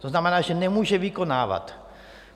To znamená, že nemůže vykonávat.